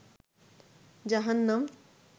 জাহান্নাম